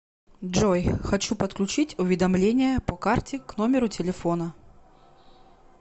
джой хочу подключить уведомления по карте к номеру телефона